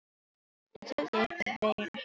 En þoldi einhvern veginn ekki við.